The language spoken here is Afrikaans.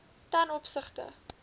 ten opsigte